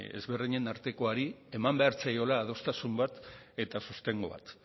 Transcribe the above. ezberdinen artekoari eman behar zaiola adostasun bat eta sostengu bat